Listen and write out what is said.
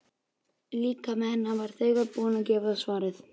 Líkami hennar var þegar búinn að gefa svarið.